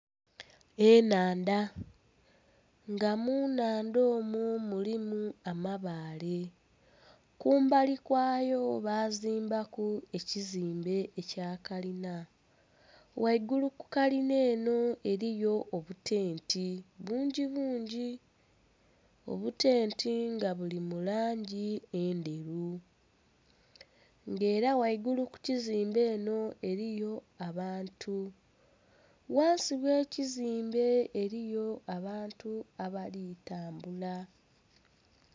Enhandha nga munhandha omwo mulimu amabaale kumbali kwayo bazimbaku ekizimbe ekya kalinha ghaigulu ku kalina eno eriyo obutenti bungi bungi. Obutenti nga buli mu langi endheru nga era ghaigulu kukizimbe eno eriyo abantu ghansi oghe ekizimbe eriyo abantu abali tambula.